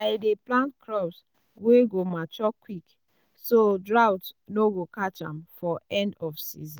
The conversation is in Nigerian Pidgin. i dey plant crops wey go mature quick so um drought no go catch am for end of season.